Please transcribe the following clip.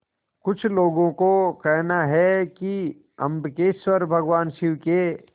कुछ लोगों को कहना है कि अम्बकेश्वर भगवान शिव के